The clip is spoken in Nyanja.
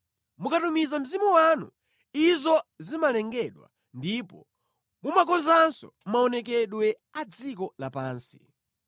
Mukatumiza mzimu wanu, izo zimalengedwa ndipo mumakozanso maonekedwe a dziko lapansi.